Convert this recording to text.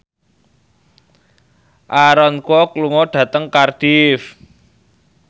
Aaron Kwok lunga dhateng Cardiff